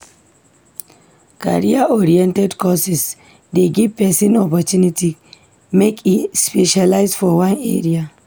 Career-oriented courses dey give pesin opportunity make e specialise for one area.